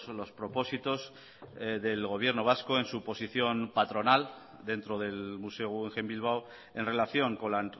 los propósitos del gobierno vasco en su posición patronal dentro del museo guggenheim bilbao en relación con la